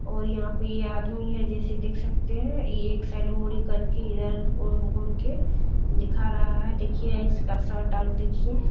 और यहाँ पे आदमी है जैसे देख सकते है ये एक साइड मुरी करके इधर घूम के दिखा रहा है देखिये इसका शर्ट आर देखिये --